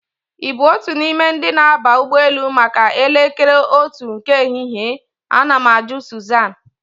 Ị bụ otu n'ime ndi na-aba ụgbọelu maka elekere otu nke ehihie? Ana m ajụ Sụzan